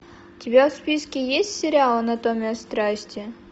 у тебя в списке есть сериал анатомия страсти